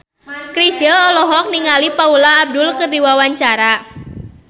Chrisye olohok ningali Paula Abdul keur diwawancara